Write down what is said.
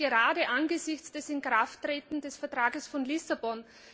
Dies gerade angesichts des Inkrafttretens des Vertrags von Lissabon.